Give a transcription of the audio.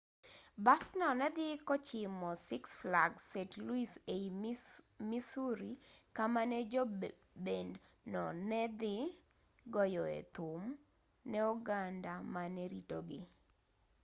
basno ne dhi kochimo six flags st louis ei missouri kama ne jo bend no ne dhi goyoe thum ne oganda mane ritogi